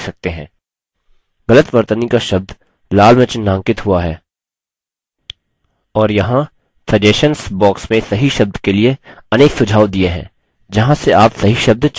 गलत वर्तनी का शब्द लाल में चिन्हांकित हुआ है और यहाँ suggestions box में सही शब्द के लिए अनेक सुझाव the हैं जहाँ से आप सही शब्द चुन सकते हैं